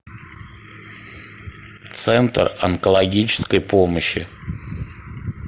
центр онкологической помощи